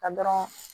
Ka dɔrɔn